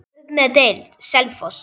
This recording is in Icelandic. Upp um deild:, Selfoss